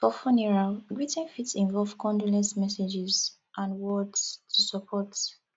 for funeral greeting fit involve condolence messages and words to support